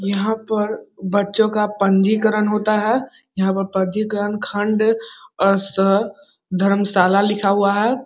यहां पर बच्चो का पंजीकरण होता है यहां पर पंजीकरण खंड और स धर्मशाला लिखा हुआ है।